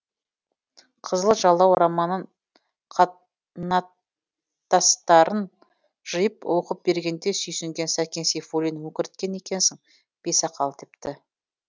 қызыл жалау романын қат нат тастарын жиып оқып бергенде сүйсінген сәкен сейфуллин өкірткен екенсің бисақал депті